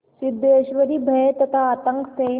सिद्धेश्वरी भय तथा आतंक से